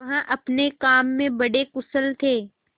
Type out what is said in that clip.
वह अपने काम में बड़े कुशल थे